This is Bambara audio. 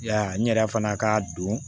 Ya n yɛrɛ fana ka don